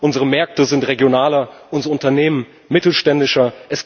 Unsere Märkte sind regionaler, unsere Unternehmen mittelständischer.